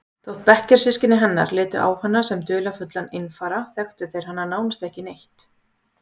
Þótt bekkjarsystkini hennar litu á hana sem dularfullan einfara þekktu þeir hana nánast ekki neitt.